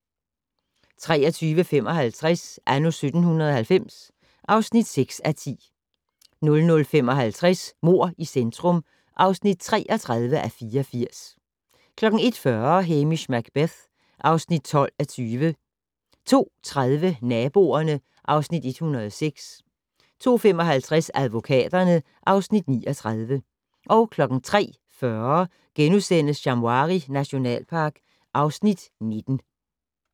23:55: Anno 1790 (6:10) 00:55: Mord i centrum (33:84) 01:40: Hamish Macbeth (12:20) 02:30: Naboerne (Afs. 106) 02:55: Advokaterne (Afs. 39) 03:40: Shamwari nationalpark (Afs. 19)*